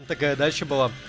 такая дача была